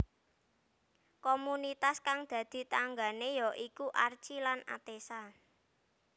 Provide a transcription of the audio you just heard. Komunitas kang dadi tanggané ya iku Archi lan Atessa